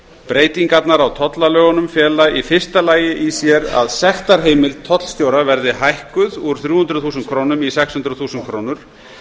breytingarnar á tollalögunum fela í fyrsta lagi í sér að sektarheimild tollstjóra verði hækkuð úr þrjú hundruð þúsund krónum í sex hundruð þúsund krónur